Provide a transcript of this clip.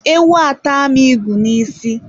Ewu ata m ịgụ n'isi.